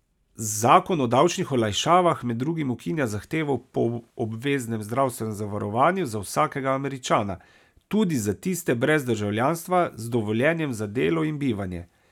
Zakon o davčnih olajšavah med drugim ukinja zahtevo po obveznem zdravstvenem zavarovanju za vsakega Američana, tudi za tiste brez državljanstva z dovoljenjem za delo in bivanje.